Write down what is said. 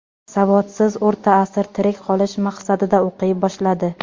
Savodsiz O‘rta asr tirik qolish maqsadida o‘qiy boshladi.